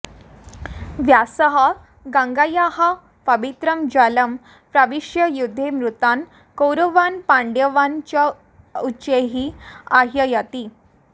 व्यासः गङ्गायाः पवित्रं जलं प्रविश्य युद्धे मृतान् कौरवान् पाण्डवान् च उच्चैः आह्वयति